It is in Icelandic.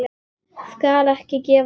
Skal ekki gefast upp.